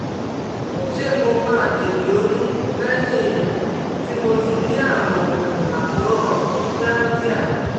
Ṣé mo máa lè lóyún lẹ́yìn um tí mo ti ní àrùn àkóràn chlamydia?